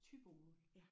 Thybomål